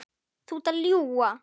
Þú ert að ljúga!